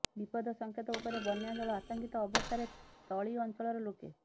ବିପଦ ସଙ୍କେତ ଉପରେ ବନ୍ୟାଜଳ ଆତଙ୍କିତ ଅବସ୍ଥାରେ ତଳି ଅଞ୍ଚଳର ଲୋକେ